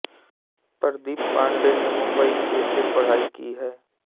प्रदीप पाण्डेय ने मुंबई के से पढ़ाई की है